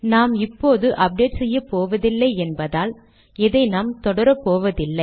நாம் இப்போது அப்டேட் செய்யப்போவதில்லை என்பதால் இதை நாம் தொடரப்போவதில்லை